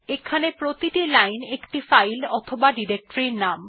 এখানে প্রতিটি লাইন একটি ফাইল অথবা ডিরেক্টরির নাম